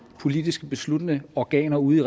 politisk besluttende organer ude i